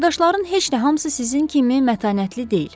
Qardaşların heç də hamısı sizin kimi mətanətli deyil.